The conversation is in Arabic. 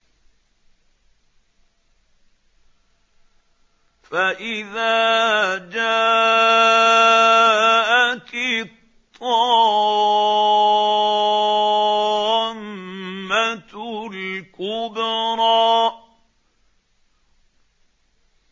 فَإِذَا جَاءَتِ الطَّامَّةُ الْكُبْرَىٰ